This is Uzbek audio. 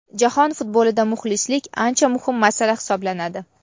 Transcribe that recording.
Jahon futbolida muxlislik ancha muhim masala hisoblanadi.